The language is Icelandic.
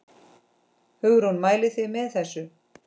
Hugrún: Mælið þið með þessu?